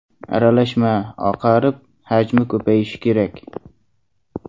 Aralashma oqarib, hajmi ko‘payishi kerak.